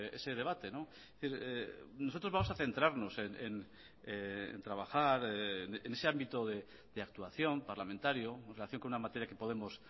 ese debate nosotros vamos a centrarnos en trabajar en ese ámbito de actuación parlamentario en relación con una materia que podemos